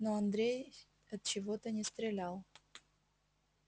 но андрей отчего-то не стрелял